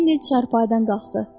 Lenny çarpayıdan qalxdı.